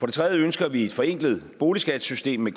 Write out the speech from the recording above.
det tredje ønsker vi et forenklet boligskattesystem med